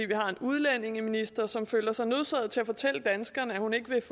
har en udlændingeminister som føler sig nødsaget til at fortælle danskerne at hun ikke vil